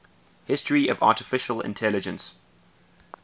history of artificial intelligence